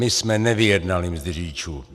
My jsme nevyjednali mzdy řidičů.